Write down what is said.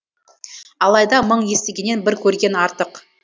алайда мың естігеннен бір көрген артық